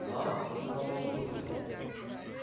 мам сказал он шёпотом